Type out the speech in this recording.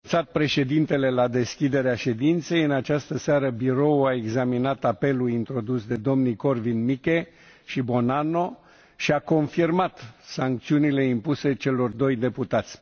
Astfel cum a anunțat Președintele la deschiderea ședinței, în această seară Biroul a examinat apelul introdus de domnii Korwin Mikke și Buonanno și a confirmat sancțiunile impuse celor doi deputați.